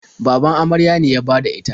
Baban amarya ne ya bada ita.